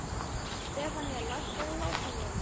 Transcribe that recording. Stefanía, lækkaðu í hátalaranum.